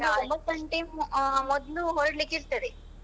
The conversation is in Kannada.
ಒಂದು ಒಂಬತ್ತು ಗಂಟೆ ಅಹ್ ಮೊದ್ಲು ಹೊರಡ್ಲಿಕೆ ಇರ್ತದೆ.